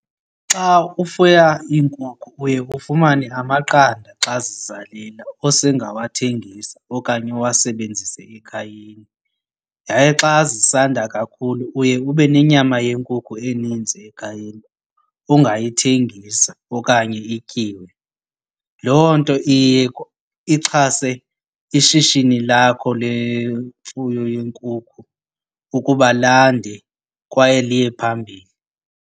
Xa ufuya iinkukhu uye ufumane amaqanda xa zizalela ose ngawathengisa okanye uwasebenzise ekhayeni. Yaye xa zisanda kakhulu uye ube nenyama yenkukhu eninzi ekhayeni ongayithengisa okanye ityiwe. Loo nto iye ixhase ishishini lakho lemfuyo yenkukhu ukuba landa kwaye liye phambili.